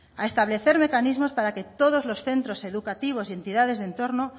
a establecer mecanismos para que todos los centros educativos y entidades de entorno